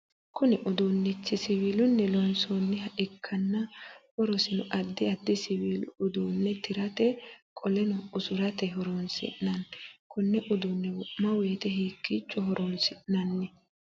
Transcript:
Kunni uduunichu siwiilunni loonsoonniha ikanna horosino addi addi siwiilu uduune tirate qoleno usurate horoonsi'nanni Konne uduune wo'ma woyeete hiikiicho horoonsi'nanni?